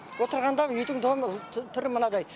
отырғанда үйдің домы түрі мынадай